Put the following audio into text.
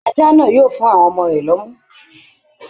Ajá náà yóò fún àwọn ọmọ rẹ̀ lómú